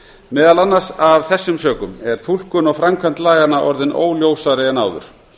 meðal annars af þessum sökum er túlkun og framkvæmd laganna orðin óljósari en áður